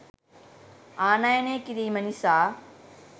ආනයනය කිරීම නිසා